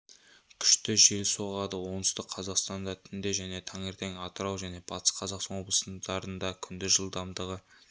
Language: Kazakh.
күшті жел соғады оңтүстік қазақстанда түнде және таңертең атырау және батыс қазақстан облыстарында күндіз жылдамдығы